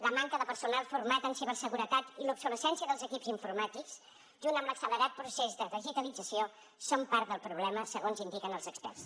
la manca de personal format en ciberseguretat i l’obsolescència dels equips informàtics junt amb l’accelerat procés de digitalització són part del problema segons indiquen els experts